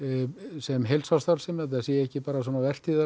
sem heilsársstarfsemi þetta sé ekki bara